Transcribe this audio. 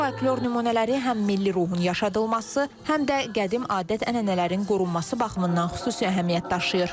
Bu folklor nümunələri həm milli ruhun yaşadılması, həm də qədim adət-ənənələrin qorunması baxımından xüsusi əhəmiyyət daşıyır.